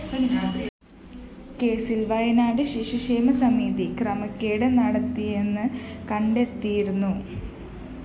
കേസില്‍ വയനാട് ശിശുക്ഷേമ സമിതി ക്രമക്കേട് നടത്തിയെന്ന് കണ്ടെത്തിയിരുന്നു